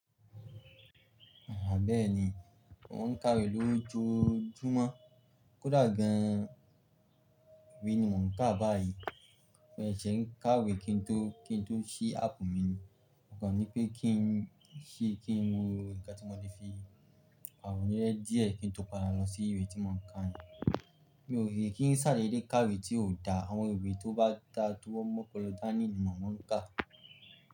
Bẹ́ẹ́ni, mo ń kàwé lójoójúmọ́. Kódà gan-an, ìwé ni mò ń kà báyìí. Ó ṣeé ń kàwé kí n tó, kí n tó ṣí áàpù mi ni. Ó kan ni pé kí n ṣí, kí n wo òǹkà tí mo le fi pàrònu díẹ̀ kí n tó padà lọ sí ìwé tí mò ń kà yẹn. Mi ò rí kí n ṣàdeedé kàwé tí ò da. Àwọn ìwé tó bá da tí wọ́n m'ọ̀polọ dánì ní mò ń kà.